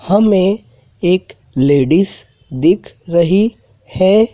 हमें एक लेडिज दिख रही है।